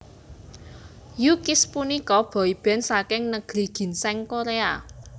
U Kiss punika boyband saking Negeri Ginseng Korea